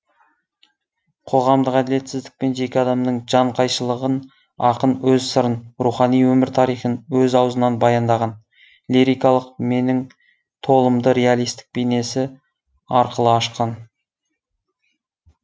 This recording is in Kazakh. қоғамдық әділетсіздік пен жеке адамның жан қайшылығын ақын өз сырын рухани өмір тарихын өз аузынан баяндаған лирикалық меннің толымды реалистік бейнесі арқылы ашқан